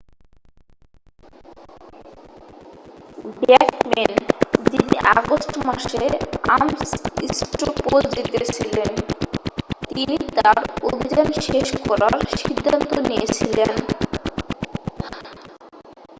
ব্যাকমেন যিনি আগস্ট মাসে আমস স্ট্রো পোল জিতেছিলেন তিনি তার অভিযান শেষ করার সিদ্ধান্ত নিয়েছিলেন